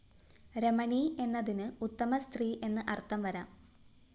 രമണീ എന്നതിന്‌ ഉത്തമസ്ത്രീ എന്ന്‌ അര്‍ത്ഥം വരാം